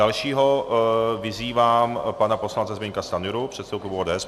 Dalšího vyzývám pana poslance Zbyňka Stanjuru, předsedu klubu ODS.